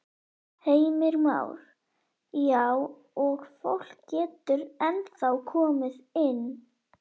Heimir Már: Já og fólk getur ennþá komið inn?